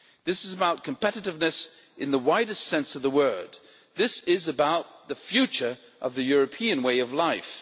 This is about competitiveness in the widest sense of the word. This is about the future of the European way of life.